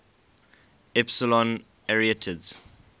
epsilon arietids